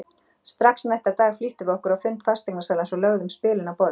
Strax næsta dag flýttum við okkur á fund fasteignasalans og lögðum spilin á borðið.